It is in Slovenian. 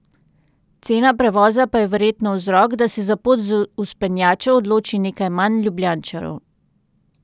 Cena prevoza pa je verjetno vzrok, da se za pot s vzpenjačo odloči nekaj manj Ljubljančanov.